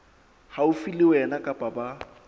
haufi le wena kapa ba